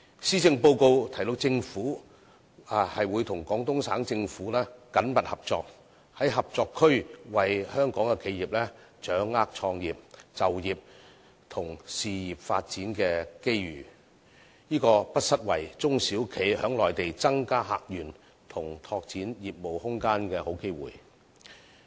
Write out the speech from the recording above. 施政報告提到政府會與廣東省政府緊密合作，在合作區為香港企業掌握創業、就業及事業發展的機遇，這個不失為中小企在內地增加客源，以及拓展業務空間的好機會。